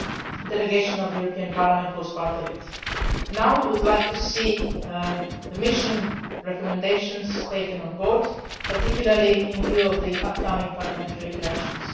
A delegation of the European Parliament was part of it. Now we would like to see the mission recommendations taken on board, particularly in view of the upcoming parliamentary elections.